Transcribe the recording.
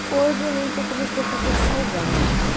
eu lembro que eu comecei a fazer salgados.